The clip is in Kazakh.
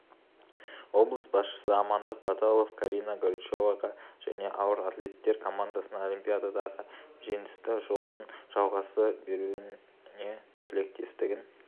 облыс басшысы амандық баталов карина горичеваға және ауыр атлеттер командасына олимпиададағы жеңісті жолдың жалғаса беруіне тілектестігін